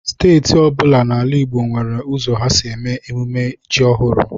Steeti ọ bụla n'ala Igbo nwere ụzọ ha si eme mmemme ji ọhụrụ.